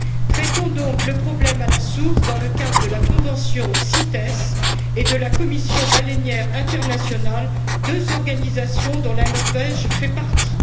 Traitons donc le problème à la source dans le cadre de la convention CITES et de la Commission baleinière internationale, deux organisations dont la Norvège fait partie.